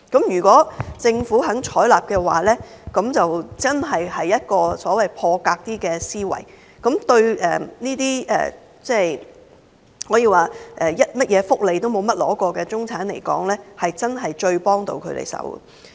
如果政府願意採納這建議，便是所謂的"破格"思維，對沒有領取過任何福利的中產人士來說，這是最能幫到他們的措施。